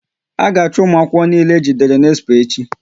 A ga achu ụmụ akwụkwọ niile e jidere n'expo echi!